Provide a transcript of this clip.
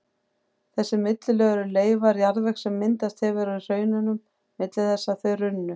Þessi millilög eru leifar jarðvegs sem myndast hefur á hraununum milli þess að þau runnu.